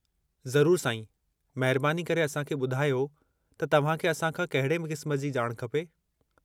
ज़रूरु साईं! महिरबानी करे असां खे ॿुधायो त तव्हां खे असां खां केहिड़े क़िस्म जी ॼाण खपे।